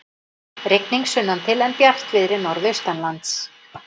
Rigning sunnantil en bjartviðri norðaustanlands